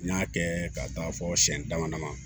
N y'a kɛ ka taa fɔ siyɛn dama dama